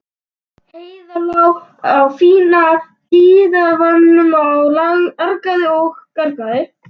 Heiða lá á fína dívaninum og argaði og gargaði.